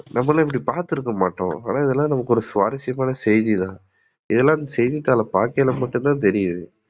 நம்மலாம் இப்டி பாத்துருக்கமாட்டோம். ஆனா இதெல்லாம் நமக்கு ஒரு சுவாரசியமான செய்தி தான். இதெல்லாம் செய்தித்தாள பாக்கையில மட்டும்தான் தெரியிது.